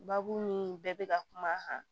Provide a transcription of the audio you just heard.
Baabu ni bɛɛ bɛ ka kuma a kan